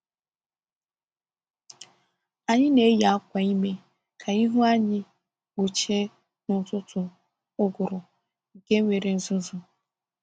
Anyị na-eyi akwa imi ka ihu anyị kpuchie n’ụtụtụ ụgụrụ nke nwere uzuzu.